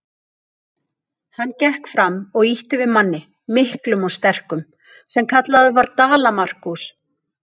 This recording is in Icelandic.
Hann gekk fram og ýtti við manni, miklum og sterkum, sem kallaður var Dala-Markús.